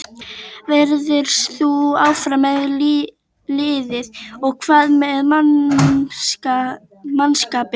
Verður þú áfram með liðið og hvað með mannskapinn?